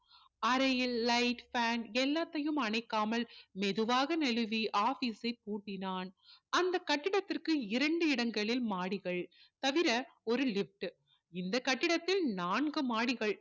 அறையில் light fan எல்லாத்தையும் அனைக்காமல் மெதுவாக நழுவி office சை பூட்டினான் அந்த கட்டிடத்திற்கு இரண்டு இடங்களில் மாடிகள் தவிர ஒரு lift இந்த கட்டிடத்தில் நான்கு மாடிகள்